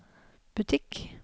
butikk